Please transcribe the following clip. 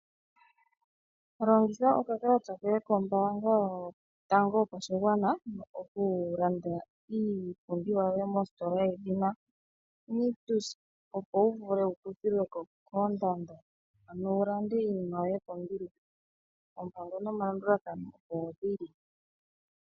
Longitha okakalata koye kotango kombaanga yopashigwana okulanda iipumbiwa yoye mositola yedhina Nictus, opo wu vule wukuthilwe ko koondando, wu landa iinima yoye kombiliha. Oompango nomalandulathano opo dhili.